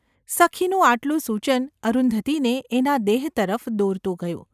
સખીનું આટલું સૂચન અરુંધતીને એના દેહ તરફ દોરતું ગયું.